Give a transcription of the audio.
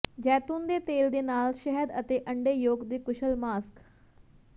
ਜੈਤੂਨ ਦੇ ਤੇਲ ਦੇ ਨਾਲ ਨਾਲ ਸ਼ਹਿਦ ਅਤੇ ਅੰਡੇ ਯੋਕ ਦੇ ਕੁਸ਼ਲ ਮਾਸਕ